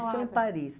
lá. Isso é em Paris.